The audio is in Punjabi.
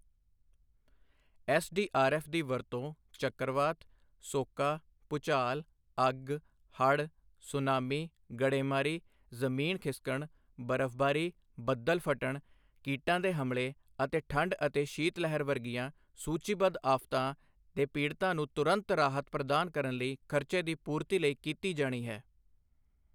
ਐੱਸਡੀਆਰਐੱਫ ਦੀ ਵਰਤੋਂ ਚੱਕਰਵਾਤ, ਸੋਕਾ, ਭੂਚਾਲ, ਅੱਗ, ਹੜ੍ਹ, ਸੁਨਾਮੀ, ਗੜ੍ਹੇਮਾਰੀ, ਜ਼ਮੀਨ ਖਿਸਕਣ, ਬਰਫ਼ਬਾਰੀ, ਬੱਦਲ ਫਟਣ, ਕੀਟਾਂ ਦੇ ਹਮਲੇ ਅਤੇ ਠੰਡ ਅਤੇ ਸ਼ੀਤ ਲਹਿਰ ਵਰਗੀਆਂ ਸੂਚੀਬੱਧ ਆਫ਼ਤਾਂ ਦੇ ਪੀੜ੍ਹਤਾਂ ਨੂੰ ਤੁਰੰਤ ਰਾਹਤ ਪ੍ਰਦਾਨ ਕਰਨ ਲਈ ਖਰਚੇ ਦੀ ਪੂਰਤੀ ਲਈ ਕੀਤੀ ਜਾਣੀ ਹੈ।